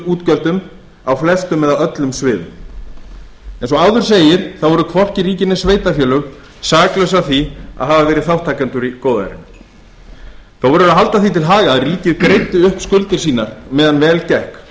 ríkisútgjöldum á flestum eða öllum sviðum eins og áður segir voru hvorki ríki né sveitarfélög saklaus að því að hafa verið þátttakendur í góðærinu þó verður að halda því til haga að ríkið greiddi upp skuldir sínar meðal vel gekk og það